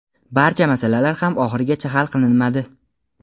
barcha masalalar ham oxirigacha hal qilinmadi.